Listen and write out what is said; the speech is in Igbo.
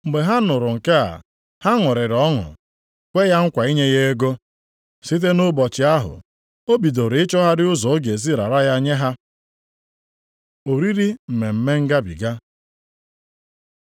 Mgbe ha nụrụ nke a, ha ṅụrịrị ọṅụ kwee ya nkwa inye ya ego. Site nʼụbọchị ahụ, o bidoro ịchọgharị ụzọ ọ ga-esi rara ya nye ha. Oriri Mmemme Ngabiga